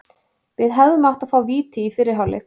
Við hefðum átt að fá víti í fyrri hálfleik.